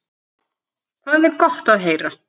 Það er gott að heyra.